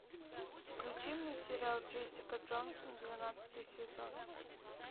включи мне сериал джессика джонс двенадцатый сезон